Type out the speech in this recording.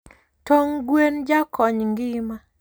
Tong gwen jakony ngima